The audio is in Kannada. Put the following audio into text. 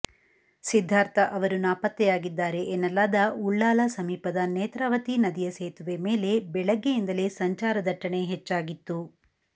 ಸಿದ್ದಾರ್ಥ ಅವರು ನಾಪತ್ತೆಯಾಗಿದ್ದಾರೆ ಎನ್ನಲಾದ ಉಳ್ಳಾಲ ಸಮೀಪದ ನೇತ್ರಾವತಿ ನದಿಯ ಸೇತುವೆ ಮೇಲೆ ಬೆಳಿಗ್ಗೆಯಿಂದಲೇ ಸಂಚಾರ ದಟ್ಟಣೆ ಹೆಚ್ಚಾಗಿತ್ತು